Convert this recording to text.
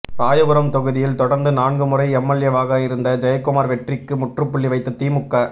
ராயபுரம் தொகுதியில் தொடர்ந்து நான்கு முறை எம்எல்ஏவாக இருந்த ஜெயக்குமார் வெற்றிக்கு முற்றுப்புள்ளி வைத்த திமுக